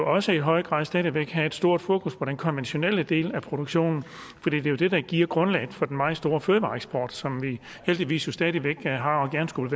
også i høj grad stadig væk have et stort fokus på den konventionelle del af produktionen for det er jo det der giver grundlaget for den meget store fødevareeksport som vi heldigvis stadig har og gerne skulle